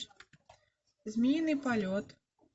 змеиный полет